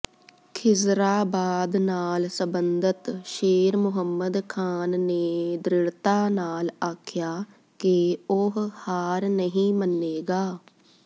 ਖ਼ਿਜ਼ਰਾਬਾਦ ਨਾਲ ਸਬੰਧਤ ਸ਼ੇਰ ਮੁਹੰਮਦ ਖ਼ਾਨ ਨੇ ਦਿ੍ੜ੍ਹਤਾ ਨਾਲ ਆਖਿਆ ਕਿ ਉਹ ਹਾਰ ਨਹੀਂ ਮੰਨੇਗਾ